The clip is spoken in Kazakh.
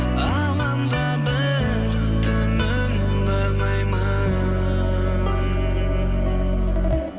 алаңдап бір түнін саған арнаймын